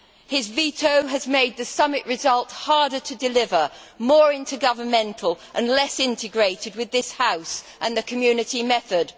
His veto has made the summit result harder to deliver, more intergovernmental and less integrated with this House and the Community method.